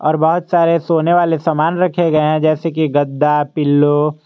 बहोत सारे सोने वाले सामान रखे गए हैं जैसे कि गद्दा पिलो ।